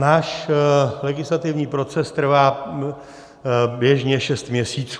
Náš legislativní proces trvá běžně šest měsíců.